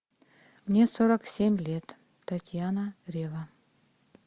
мне сорок семь лет татьяна рева